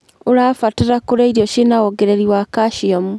ũrabatara kurĩa irio ciĩna wonegreri wa calcium